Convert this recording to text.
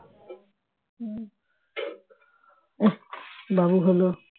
বাবু হল